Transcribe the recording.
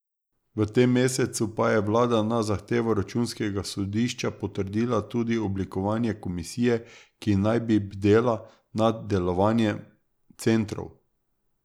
V tem mesecu pa je vlada na zahtevo računskega sodišča potrdila tudi oblikovanje komisije, ki naj bi bdela nad delovanjem centrov.